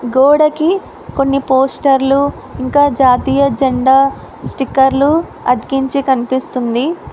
గోడకి కొన్ని పోస్టర్లు ఇంకా జాతీయ జెండా స్టిక్కర్లు అతికించి కనిపిస్తుంది.